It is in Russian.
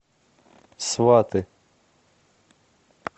сваты